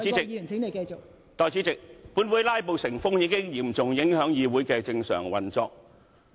代理主席，本會"拉布"成風，已嚴重影響議會的正常運作。